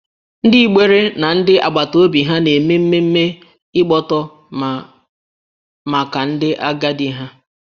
Ndị Igbere na ndị agbata obi ha na-eme mmemme ịgbọtọ mma maka ndị agadi ha